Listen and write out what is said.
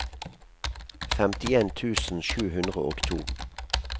femtien tusen sju hundre og to